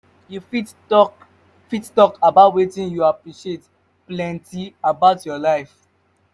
you fit talk fit talk about wetin you appreciate plenty about your life?